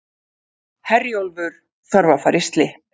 Herjólfur þarf að fara í slipp